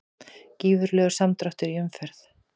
Gífurlegur samdráttur í umferð